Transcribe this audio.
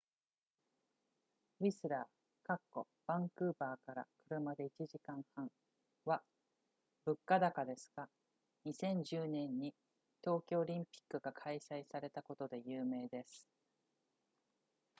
ウィスラーバンクーバーから車で1時間半は物価高ですが2010年に冬季オリンピックが開催されたことで有名です